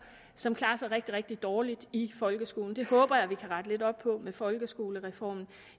som klarer sig rigtig rigtig dårligt i folkeskolen det håber jeg vi kan rette lidt op på med folkeskolereformen